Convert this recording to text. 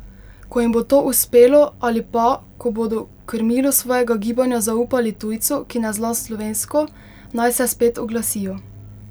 Ko jim bo to uspelo ali pa, ko bodo krmilo svojega gibanja zaupali tujcu, ki ne zna slovensko, naj se spet oglasijo.